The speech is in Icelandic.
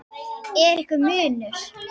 Er einhver munur?